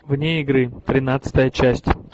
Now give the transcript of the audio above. вне игры тринадцатая часть